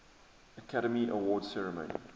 academy awards ceremony